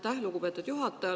Aitäh, lugupeetud juhataja!